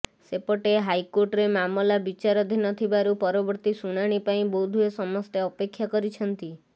ସେପଟେ ହାଇକୋର୍ଟରେ ମାମଲା ବିଚାରଧୀନ ଥିବାରୁ ପରବର୍ତ୍ତୀ ଶୂଣାଣି ପାଇଁ ବୋଧହୁଏ ସମସ୍ତେ ଅପେକ୍ଷା କରିଛନ୍ତି